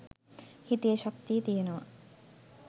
හිතේ ශක්තිය තියනවා